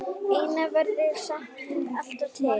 Einar verður samt alltaf til.